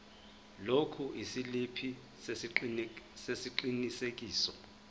lokhu isiliphi sesiqinisekiso